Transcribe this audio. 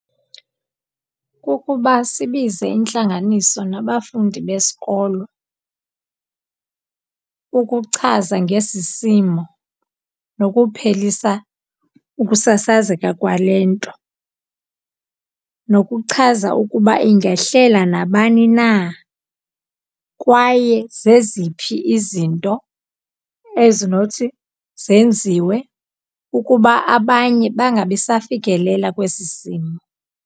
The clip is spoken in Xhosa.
Kukuba sibize intlanganiso nabafundi besikolo ukuchaza ngesi simo nokuphelisa ukusasazeka kwale nto. Nokuchaza ukuba ingehlela nabani na kwaye zeziphi izinto ezinothi zenziwe ukuba abanye bangabi safikelela kwesi simo.